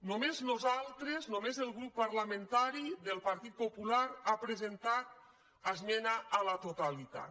només nosaltres només el grup parlamentari del partit popular hem presentat esmena a la totalitat